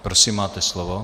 Prosím, máte slovo.